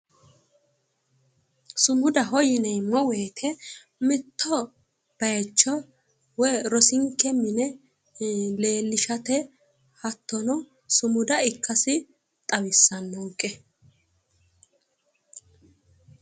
Sumudaho yineemmo woyite mitto bayicho woyi rosinke mine leellishate hattono sumuda ikkasi xawissannonke.